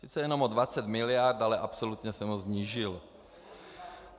Sice jenom o 20 mld., ale absolutně jsem ho snížil.